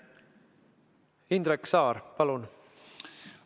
Indrek Saar, palun!